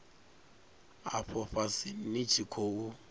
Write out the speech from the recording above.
afho fhasi ni tshi khou